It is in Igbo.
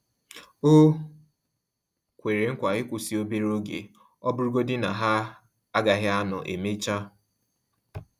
O kwere nkwa ịkwụsị obere oge, ọ bụrụ godi na-ha agaghị anọ emecha